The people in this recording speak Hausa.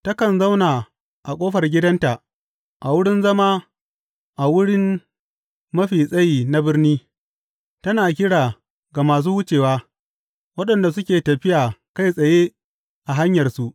Takan zauna a ƙofar gidanta, a wurin zama a wurin mafi tsayi na birni, tana kira ga masu wucewa, waɗanda suke tafiya kai tsaye a hanyarsu.